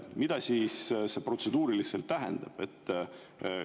Mida see protseduuriliselt tähendab?